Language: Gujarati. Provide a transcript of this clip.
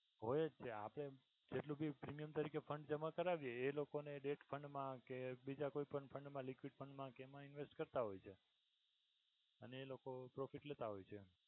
હોય જ છે આપણે જેટલું ભી premium તરીકે fund જમા કરાવીએ એ લોકો ને એજ fund મા કે બીજા કોઈ પણ fund, liquid fund મા કે એમા invest કરતાં હોય છે. એ લોકો profit લેતા હોય છે.